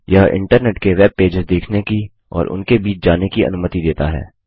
यह इन्टरनेट के web pages देखने की और उनके बीच जाने की अनुमति देता है